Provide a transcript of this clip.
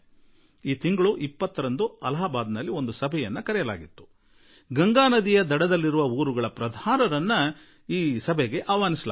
ಈ ತಿಂಗಳ 20ರಂದು ಅಲಹಾಬಾದಿನಲ್ಲಿ ಗಂಗಾ ನದಿ ತಟೀಯ ಪ್ರದೇಶದಲ್ಲಿನ ಹಳ್ಳಿಗಳ ಪ್ರಧಾನರನ್ನು ಆಮಂತ್ರಿಸಲಾಗಿತ್ತು